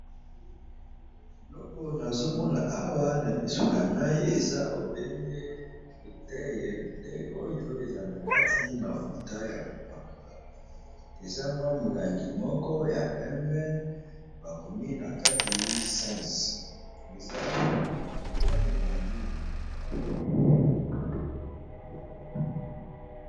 Eloko nazo Mona Awa namiso nangai eza obele molangi azala nakati mafuta Yako pakola eza mwa mulangi moko ya pembe bakomi sens eza mulangi.